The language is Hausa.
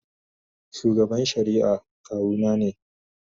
Shugaban shari'a kawuna ne.